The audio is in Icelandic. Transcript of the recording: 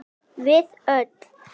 Við öllu.